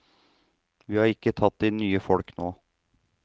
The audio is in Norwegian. Vi har ikke tatt inn nye folk nå.